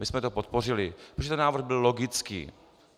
My jsme to podpořili, protože ten návrh byl logický.